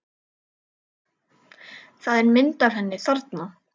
Það er mynd af henni þarna.